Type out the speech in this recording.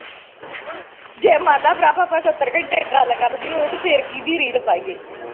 ਜੇ ਮਨਲਾ ਪ੍ਰਭ ਆਪਾ ਸਤਰ ਘੰਟੇ ਗੱਲ ਕਰਨੀ ਹੋਵੇ ਤਾ ਫਿਰ ਕੀ ਦੀ ਰੀਲ ਪਾਈਏ